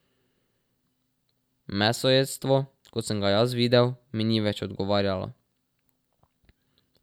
Mesojedstvo, kot sem ga jaz videl, mi ni več odgovarjalo.